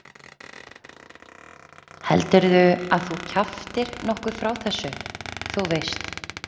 Heldurðu að þú kjaftir nokkuð frá þessu. þú veist?